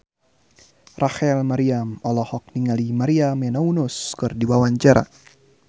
Rachel Maryam olohok ningali Maria Menounos keur diwawancara